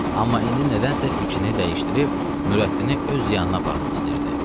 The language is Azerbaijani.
Amma indi nədənsə fikrini dəyişdirib Nürəddini öz yanına aparmaq istəyirdi.